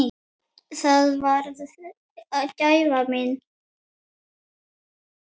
Það varð gæfa mín.